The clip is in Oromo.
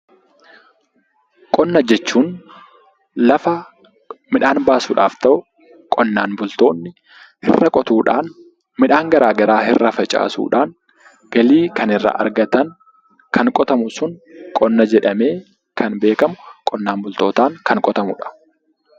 Qonna jechuun lafa midhaan baasuudhaaf ta'u qonnaan bultoonni irra qotuudhaan, midhaan garaa garaa irra facaasuudhaan, galii kan irraa argatan kan qotamu sun qonna jedhamee kan beekamu qonnaan bultootaan kan qotamudha.